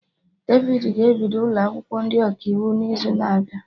Devid ga-ebido ụlọ akwụkwọ ndị Ọkaiwu n'izu na-abịa